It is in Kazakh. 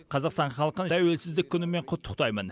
қазақстан халқын тәуелсіздік күнімен құттықтаймын